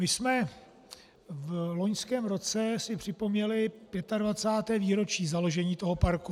My jsme v loňském roce si připomněli 25. výročí založení toho parku.